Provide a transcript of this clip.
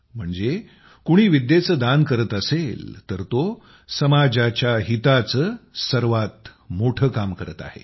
म्हणजे कुणी विद्येचं दान करत असेल तर तो समाजाच्या हिताचं सर्वात मोठं काम करत आहे